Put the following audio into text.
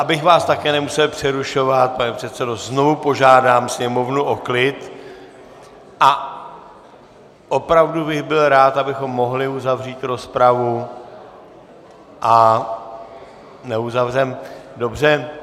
Abych vás také nemusel přerušovat, pane předsedo, znovu požádám sněmovnu o klid a opravdu bych byl rád, abychom mohli uzavřít rozpravu, a neuzavřeme - dobře.